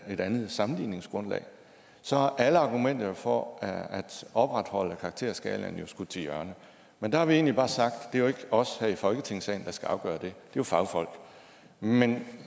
et andet sammenligningsgrundlag så er alle argumenter for at opretholde karakterskalaen jo skudt til hjørne og der har vi egentlig bare sagt at os her i folketingssalen der skal afgøre det det er fagfolk men